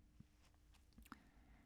DR K